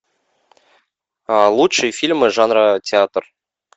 лучшие фильмы жанра театр